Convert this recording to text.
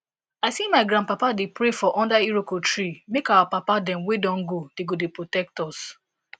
i see my grandpapa dey pray for under iroko tree make our papa dem wey don go dey go dey protect us